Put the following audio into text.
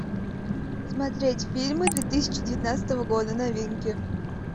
смотреть фильмы две тысячи девятнадцатого года новинки